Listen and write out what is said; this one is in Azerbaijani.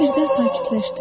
O birdən sakitləşdi.